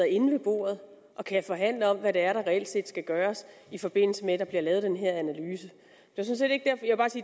inde ved bordet og kan forhandle om hvad der reelt set skal gøres i forbindelse med at der bliver lavet den her analyse